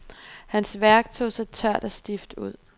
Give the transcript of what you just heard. Hans værk tog sig tørt og stift ud.